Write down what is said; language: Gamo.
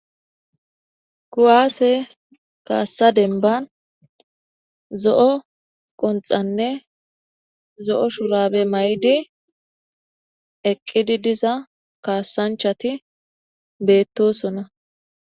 kruaase kaassa denban zo7o qonxanne zo7o shurabe may7di eqqidi diza kaassanchati beettosona